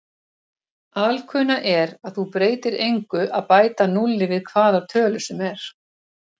Alkunna er að það breytir engu að bæta núlli við hvaða tölu sem er.